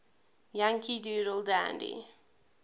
yankee doodle dandy